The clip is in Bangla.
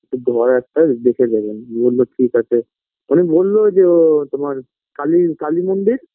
ঘর একটা দেখে দেবেন বললো ঠিক আছে উনি বললো যে ও তোমার কালী কালীমন্দির